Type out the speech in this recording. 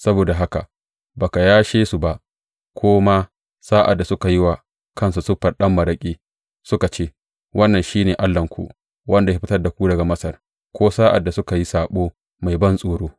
Saboda haka ba ka yashe su ba, ko ma sa’ad da suka yi wa kansu siffar ɗan maraƙi, suka ce, Wannan shi ne allahnku, wanda ya fitar da ku daga Masar,’ ko sa’ad da suka yi saɓo mai bantsoro.